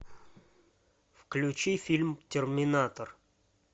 включи фильм терминатор